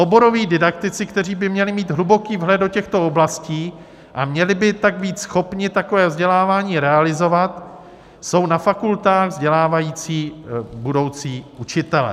Oboroví didaktici, kteří by měli mít hluboký vhled do těchto oblastí, a měli by tak být schopni takové vzdělávání realizovat, jsou na fakultách vzdělávajících budoucí učitele."